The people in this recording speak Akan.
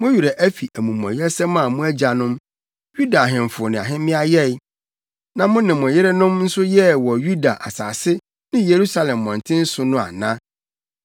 Mo werɛ afi amumɔyɛsɛm a mo agyanom, Yuda ahemfo ne ahemmea yɛe, na mo ne mo yerenom nso yɛɛ wɔ Yuda asase ne Yerusalem mmɔnten so no ana?